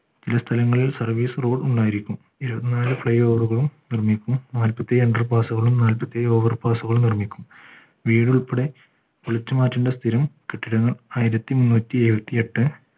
സ്ഥലങ്ങളിൽ service road ഉണ്ടായിരിക്കും ഇരുവത്തിനാൽ fly over ഉകളും നിർമ്മിക്കും നാല്പത്തിഏഴ് inter pass കളും നാല്പത്തിഏഴ് over pass കളും നിർമ്മിക്കും വീട് ഉൾപ്പെടെ പൊളിച്ചുമാറ്റണ്ട സ്ഥിരം കെട്ടിടങ്ങൾ ആയിരത്തിമുന്നൂറ്റിഏഴുവതെട്ടു